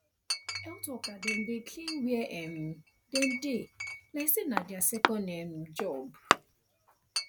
health worker dem dey clean where um dem dey like say na their second um job